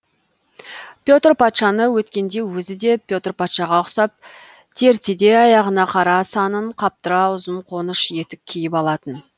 петр патшаны өткенде өзі де петр патшаға ұқсап тертедей аяғына қара санын қаптыра ұзын қоныш етік киіп алатын